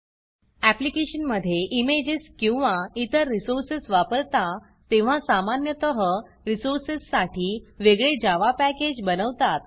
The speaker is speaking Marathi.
ऍप्लिकेशनमधे इमेजेस किंवा इतर रिसोर्सेस वापरता तेव्हा सामान्यतः रिसोर्सेससाठी वेगळे Javaजावा पॅकेज बनवतात